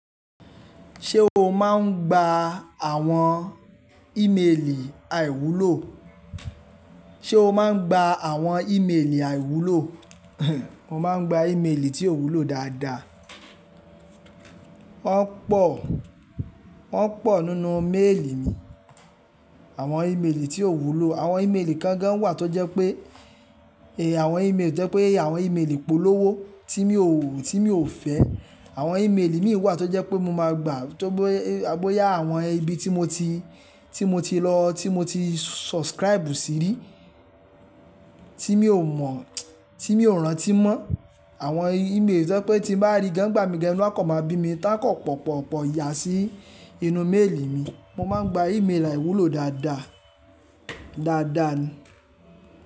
Ṣé o máa ń gba àwọn ímeèlì àìwúlò? Ṣé o máa ń gba àwọn ímeèlì àìwúlò? Mo máa ń gba ímeèlì tí ò wúlò dáadáa. Wọ́n pọ̀, wọ́n pọ̀ nínú méèlì mi. Àwọn ímeèlì tí ò wúlò, àwọn ímeèlì gangan wà tó jẹ́ pé, àwọn ímeèlì tó jẹ́ pé àwọn ímeèlì ìpolówó tí mi ò, tí mi ò fẹ́. Àwọn ímeèlì mìí wà tó jẹ́ pé mo máa gbà bóyá àwọn ibi tí mo ti, tí mo ti lọ, tí mo ti subscribe sí rí, tí mi ò mọ̀, tí mi ò rántí mọ́. Àwọn ímeèlì tó jẹ́ pé tí n bá rí gan n gbà mí gan inu a kan máa bí mi ta kan pọ̀ pọ̀ pọ̀ pọ̀ iyà sí inú méèlì mi. Mo máa ń gba ímeèlì àìwúlò dáadáa, dáadáa ni.